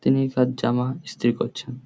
তিনি সব জামা ইস্তিরি করছেন ।